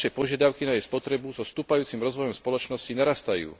Naše požiadavky na jej spotrebu so stúpajúcim rozvojom spoločnosti narastajú.